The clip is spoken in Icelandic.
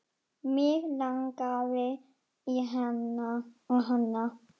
Mig langaði í hana.